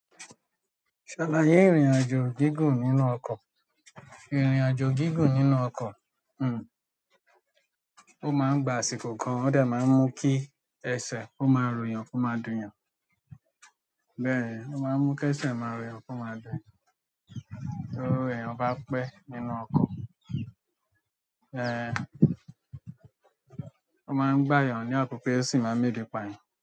Ṣàlàyé ìrìnàjò gígùn nínú ọkọ̀. Ìrìnàjò gígùn nínú ọkọ̀, hmm, ó máa ń gba àsìkò gan, ó dà máa ń mú kí ẹsẹ̀ ó máa ròyàn ko máa dùn yàn. Bẹ́ẹ̀, ó máa ń mú kí ẹsẹ̀ máa ròyàn ko máa dùn eeyan torí bẹyan bá pẹ́ nínú ọkọ̀, ẹh, ó máa ń gbà eyàn ní àkokò o si máa ń mu ebi pa yàn.